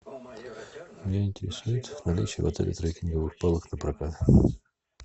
меня интересует наличие в отеле треккинговых палок напрокат